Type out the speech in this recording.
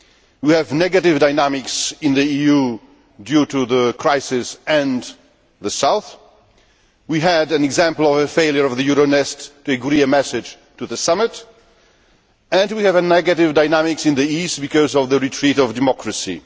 We have negative dynamics in the EU due to the crisis and the South, we had an example of the failure of Euronest to agree a message to the summit and we have negative dynamics in the East because of the retreat of democracy.